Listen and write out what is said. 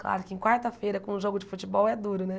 Claro que em quarta-feira, com um jogo de futebol, é duro, né?